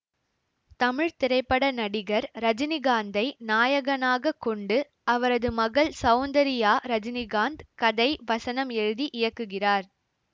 தமிழ் திரைப்பட நடிகர் ரஜினிகாந்தை நாயகனாக கொண்டு அவரது மகள் சௌந்தரியா ரஜினிகாந்த் கதை வசனம் எழுதி இயக்குகிறார்